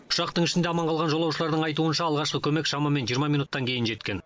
ұшақтың ішінде аман қалған жолаушылардың айтуынша алғашқы көмек шамамен жиырма минуттан кейін жеткен